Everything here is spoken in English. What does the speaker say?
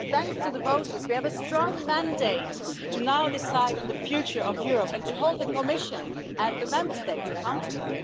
Thanks to the voters, we now have a strong mandate to decide on the future of Europe and to hold the Commission and the Member States accountable.